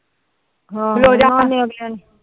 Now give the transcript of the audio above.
ਹਮ